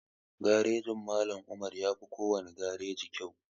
Garejin Mallam Umar yafi kowane gareji kyau